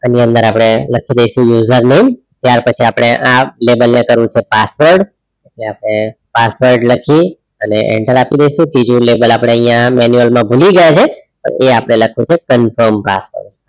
એની અંદર આપડે લખી દેઇશુ user name ત્યાર પછી આપણે આ લેબલ ને કરવું છે password ને આપડે password લખીયે અને enter આપી દેઇશુ ત્રીજું લેબલ આપડે અહીંયા માનુએલ માં ભૂલી ગયા છે એ આપણે લખવું છે confirm password